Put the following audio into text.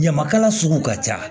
Ɲamakala sugu ka ca